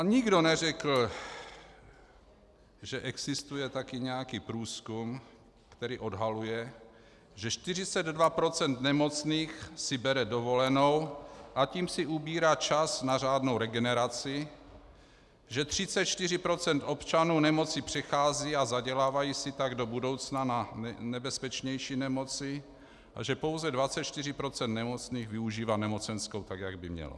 A nikdo neřekl, že existuje taky nějaký průzkum, který odhaluje, že 42 % nemocných si bere dovolenou, a tím si ubírá čas na řádnou regeneraci, že 34 % občanů nemoci přechází a zadělávají si tak do budoucna na nebezpečnější nemoci a že pouze 24 % nemocných využívá nemocenskou tak, jak by mělo.